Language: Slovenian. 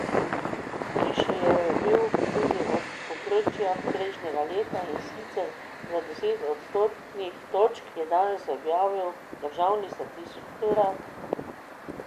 Višji je bil tudi od povprečja prejšnjega leta, in sicer za deset odstotnih točk, je danes objavil državni statistični urad.